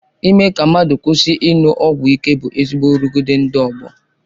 Ime ka mmadụ kwụsị ịṅụ ọgwụ ịke bụ ezigbo nrụgide ndị ọgbọ.